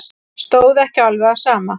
Stóð ekki alveg á sama.